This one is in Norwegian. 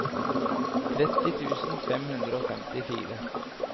tretti tusen fem hundre og femtifire